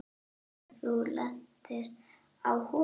Og þú lentir á honum?